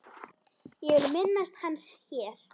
Ég vil minnast hans hér.